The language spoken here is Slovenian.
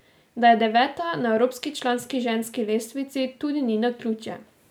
Da je deveta na evropski članski ženski lestvici, tudi ni naključje.